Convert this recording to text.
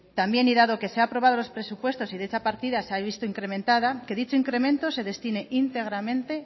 también y dado que se han aprobado los presupuestos y dicha partida se ha visto incrementada que dicho incremento se destine íntegramente